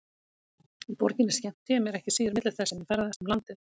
Í borginni skemmti ég mér ekki síður milli þess sem ég ferðaðist um landið.